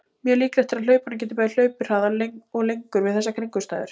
Mjög líklegt er að hlaupari geti bæði hlaupið hraðar og lengur við þessar kringumstæður.